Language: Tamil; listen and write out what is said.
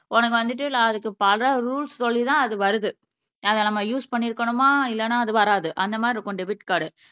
உனக்கு வந்துட்டு நான் அதுக்கு பல ரூல்ஸ் சொல்லிதான் அது வருது அதை நம்ம யூஸ் பண்ணி இருக்கணுமா இல்லைன்னா அது வராது அந்த மாதிரி இருக்கும் டெபிட் கார்டு